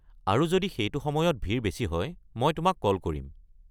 আৰু যদি সেইটো সময়ত ভিৰ বেছি হয় মই তোমাক কল কৰিম।